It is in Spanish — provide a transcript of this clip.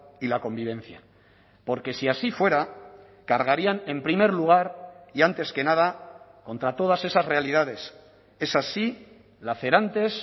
y la convivencia porque si así fuera cargarían en primer lugar y antes que nada contra todas esas realidades esas sí lacerantes